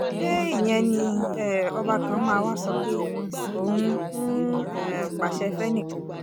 ṣé ìyẹn ni um ọba kan máa wàá sọ pé òun ń um pàṣẹ fẹ́nì kan